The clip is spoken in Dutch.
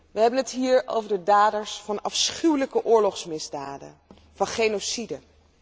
We hebben het hier over de daders van afschuwelijke oorlogsmisdaden, van genocide.